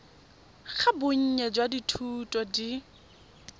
ga bonnye jwa dithuto di